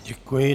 Děkuji.